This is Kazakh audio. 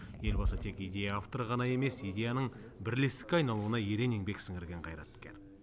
елбасы тек идея авторы ғана емес идеяның бірлестікке айналуына ерен еңбек сіңірген қайраткер